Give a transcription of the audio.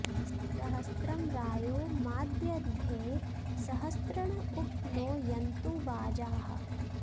स॒हस्रं॒ रायो॑ माद॒यध्यै॑ सह॒स्रिण॒ उप॑ नो यन्तु॒ वाजाः॑